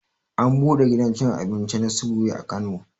An buɗe gidan cin abinci na subway a kano